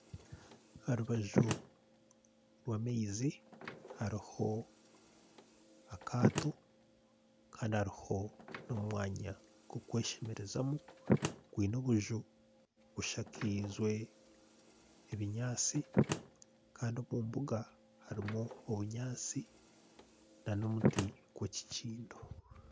Aha rubaju rw'amaizi hariho akato. Kandi hariho n'omwanya gw'okweshemerezamu. Gwine obuju bushakaize ebinyaasi kandi omu mbuga harimu obunyaasi n'omuti gw'ekikindo.